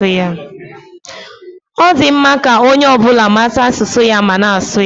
Ọ dị mma ka onye ọ bụla mata asụsụ ya ma na-asụ ya.